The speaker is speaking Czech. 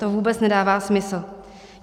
To vůbec nedává smysl.